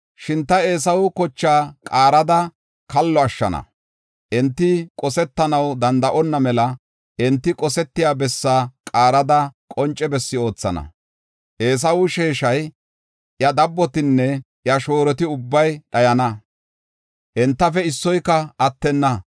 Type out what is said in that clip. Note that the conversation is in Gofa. Shin ta Eesawa kochaa qaarada kallo ashshana; enti qosetanaw danda7onna mela, enti qosetiya bessa qaarada qonce bessi oothana. Eesawe sheeshay, iya dabbotinne iya shooroti ubbay dhayana; entafe issoyka attenna.